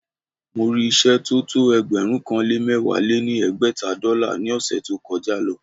Mo rí ìṣẹ́ tó tó ẹgbẹ̀rún kan lé mẹ̀wá lé ní ẹgbẹ́ta dọ́là ní ọ̀ṣẹ̀ tó kọ já